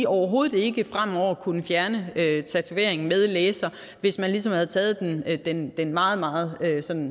overhovedet ikke fremover ville kunne fjerne tatovering med laser hvis man ligesom havde taget den den meget meget